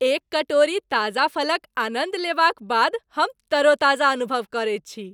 एक कटोरी ताजा फलक आनन्द लेबाक बाद हम तरोताजा अनुभव करैत छी।